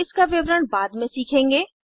हम इसका विवरण बाद में सीखेंगे